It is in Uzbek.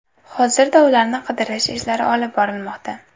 Hozirda ularni qidirish ishlari olib borilmoqda.